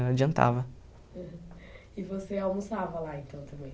Não e adiantava. E você almoçava lá então também?